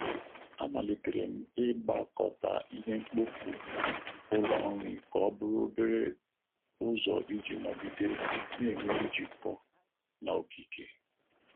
Amalitere m ịgbakọta ihe mkpofu Ụlọ nri ka ọ bụrụ obere ụzọ iji nọgide na-enwe njikọ na okike.